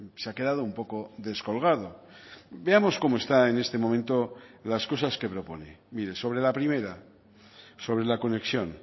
se ha quedado un poco descolgado veamos cómo está en este momento las cosas que propone mire sobre la primera sobre la conexión